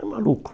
É maluco.